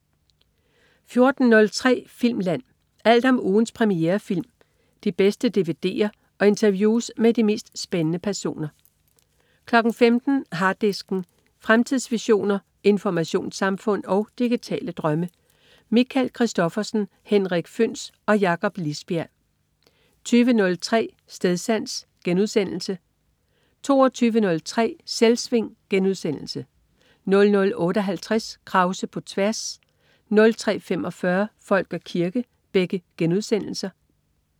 14.03 Filmland. Alt om ugens premierefilm, de bedste dvd'er og interview med de mest spændende personer 15.00 Harddisken. Fremtidsvisioner, informationssamfund og digitale drømme. Michael Christophersen, Henrik Føhns og Jakob Lisbjerg 20.03 Stedsans* 22.03 Selvsving* 00.58 Krause på tværs* 03.45 Folk og kirke*